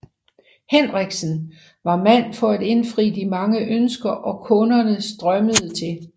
Henriksen var mand for at indfri de mange ønsker og kunderne strømmede til